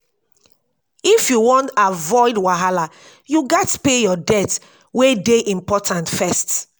if you wan avoid wahala you gats pay your debt wey dey important first.